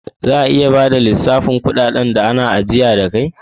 Za ka iya bada lissafin dukan kudaden da ana ajiya da kai?